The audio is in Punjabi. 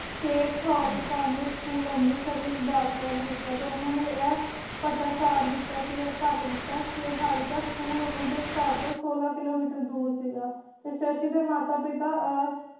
ਖੇਡ ਓਫ ਕੰਵਰਤ ਸਕੂਲ ਵਿਚ ਅਮ੍ਰਿਤਸਰ ਵਿਚ ਦਾਖਲਾ ਵੀ ਲਿੱਤਾ ਤੇ ਓਹਨਾ ਨੇ ਇਹ ਦਿੱਤਾ ਸੀ ਗਾ ਘੱਟ ਦਿਤਾ ਸੀ ਗਾ ਹਾਲਾਂਕਿ school ਓਹਨਾ ਦੇ ਘਰ ਤੋਂ ਸੋਲਹ ਕਿਲੋਮੀਟਰ ਦੂਰ ਸੀ ਗਾ ਤੇ ਸ਼ਸ਼ੀ ਦੇ ਮਾਤਾ ਪਿਤਾ ਅਹ